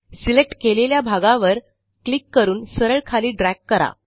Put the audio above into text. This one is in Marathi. सिलेक्ट केलेल्या भागावर क्लिक करून सरळ खाली ड्रॅग करा